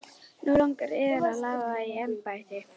Nú langar yður að lafa í embætti?